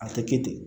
A tɛ kɛ ten